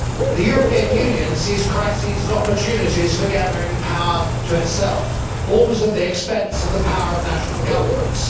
the European Union sees crises as opportunities for gathering power to itself, always at the expense of the power of national governments.